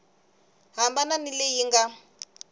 hambana ni leyi yi nga